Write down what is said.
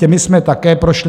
Těmi jsme také prošli.